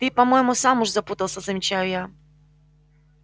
ты по-моему сам уже запутался замечаю я